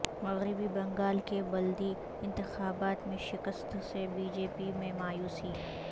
مغربی بنگال کے بلدی انتخابات میں شکست سے بی جے پی میں مایوسی